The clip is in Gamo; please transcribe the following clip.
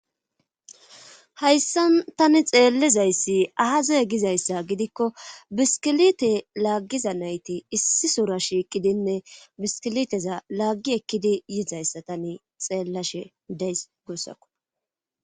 Hayssan tani xeellizayssi aazaye gizayssa gidikko biskilite laaggiza nayti issi sora shiiqidinne biskiliteza laaggi ekkidi yiizayssa tani xeellashe deys guossakko.